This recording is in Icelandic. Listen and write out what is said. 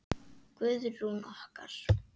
Guðrún okkar!